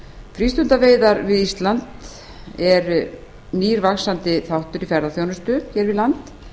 frístundaveiðar við ísland er nýr vaxandi þáttur í ferðaþjónustu hér við land